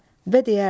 Və deyərdi: